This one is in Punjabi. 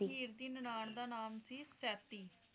ਹੀਰ ਦੀ ਨਨਾਣ ਦਾ ਨਾਮ ਸੀ ਸੈਤੀ